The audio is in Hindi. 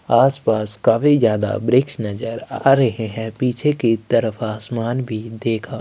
आसपास काफी ज्यादा वृक्ष नज़र आ रही है पीछे की तरफ आसमान भी देखा--